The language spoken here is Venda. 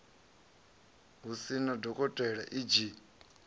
hu sina dokotela e g